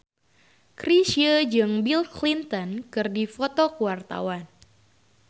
Chrisye jeung Bill Clinton keur dipoto ku wartawan